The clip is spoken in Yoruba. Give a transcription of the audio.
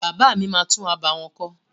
Bàbá mi máa tún abà wọn kọ́.